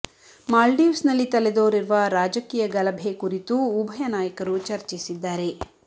ಮಾಲ್ಡೀವ್ಸ್ ನಲ್ಲಿ ತಲೆದೋರಿರುವ ರಾಜಕೀಯ ಗಲಭೆ ಕುರಿತೂ ಉಭಯ ನಾಯಕರು ಚರ್ಚಿಸಿದ್ದಾರೆ